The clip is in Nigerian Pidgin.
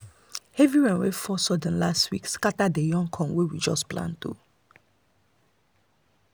heavy rain wey fall sudden last week scatter the young corn wey we just plant.